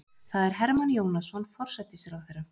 Það er Hermann Jónasson forsætisráðherra.